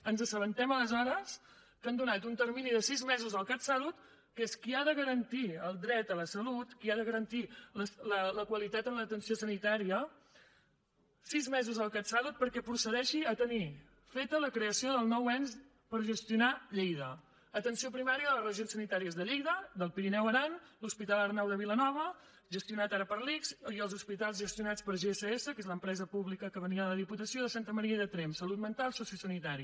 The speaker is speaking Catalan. ens assabentem aleshores que han donat un termini de sis mesos al catsalut que és qui ha de garantir el dret a la salut qui ha de garantir la qualitat en l’atenció sanitària perquè procedeixi a tenir feta la creació del nou ens per gestionar lleida atenció primària de les regions sanitàries de lleida d’alt pirineu i aran l’hospital arnau de vilanova gestionat ara per l’ics i els hospitals gestionats per gss que és l’empresa pública que venia de la diputació de santa maria i de tremp salut mental sociosanitari